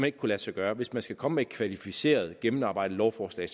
ikke kunne lade sig gøre hvis man skal komme med et kvalificeret gennemarbejdet lovforslag